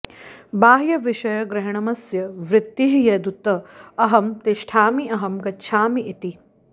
बाह्यविषयग्रहणमस्य वृत्तिः यदुत अहं तिष्ठामि अहं गच्छामि इति